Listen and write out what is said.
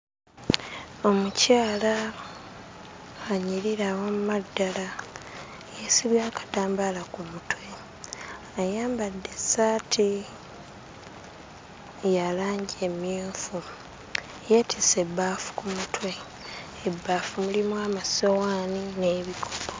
Omukayala anyirira wamma ddala yeesibye akatambaala ku mutwe ayambadde essaati ya langi emmyufu yeetisse ebbaafu ku mutwe ebbaafu mulimu amasowaani n'ebikopo.